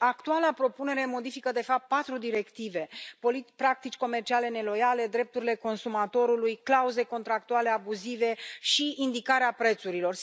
Și actuala propunere modifică, de fapt, patru directive practici comerciale neloiale, drepturile consumatorului, clauze contractuale abuzive și indicarea prețurilor.